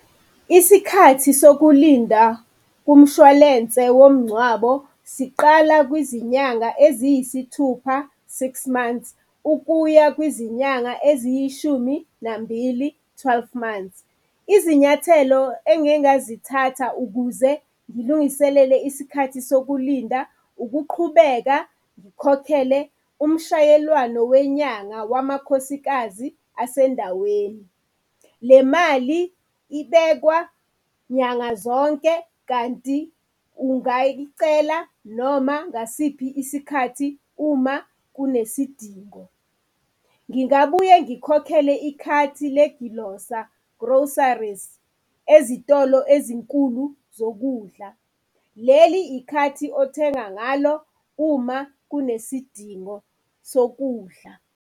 Isikhathi sokulinda umshwalense womngcwabo siqala kwizinyanga eziyisithupha, six months, ukuya kwizinyanga eziyishuminambili, twelve months. Izinyathelo engingazithatha ukuze ngilungiselele isikhathi sokulinda ukuqhubeka ngikhokhele umshayelwano wenyanga wamakhosikazi asendaweni. Le mali ibekwa nyanga zonke kanti ungayicela noma ngasiphi isikhathi uma kunesidingo. Ngingabuye ngikhokhele ikhathi legilosa, groceries, ezitolo ezinkulu zokudla, leli ikhathi othenga ngalo ukudla uma kunesidingo sokudla.